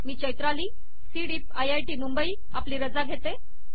me Chaitrali C DEEP I I T Mumbai आपली रजा घेते